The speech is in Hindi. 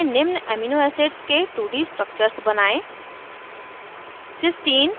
#gchempaint में निम्न amino acids के 2d structures बनायें